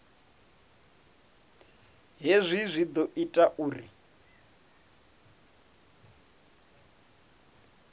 hezwi zwi ḓo ita uri